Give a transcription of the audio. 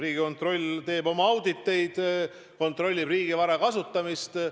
Riigikontroll teeb oma auditeid, kontrollib riigivara kasutamist.